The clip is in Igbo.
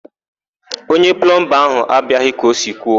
Onye plọmba ahụ abịaghị ka o si kwuo.